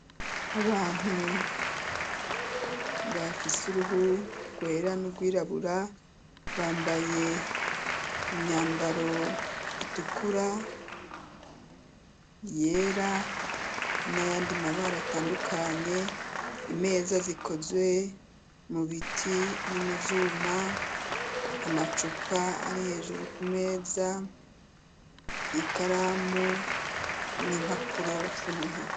Abantu bafise uruhu rwera n'urwirabura, bambaye imyambaro itukura, iyera n'ayandi mabara atandukanye, imeza zikozwe mubiti no muvyuma, amacupa ari hejuru ku meza, ikaramu n'impapuro vyo muntoke.